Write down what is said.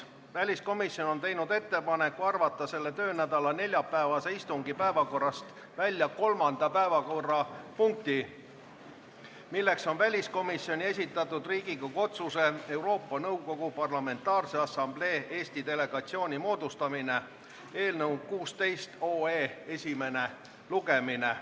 Väliskomisjon on teinud ettepaneku arvata selle töönädala neljapäevase istungi päevakorrast välja kolmanda päevakorrapunkti, milleks on väliskomisjoni esitatud Riigikogu otsuse "Euroopa Nõukogu Parlamentaarse Assamblee Eesti delegatsiooni moodustamine" eelnõu esimene lugemine.